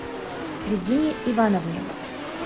регине ивановне